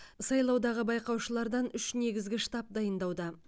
сайлаудағы байқаушылардан үш негізгі штаб дайындауда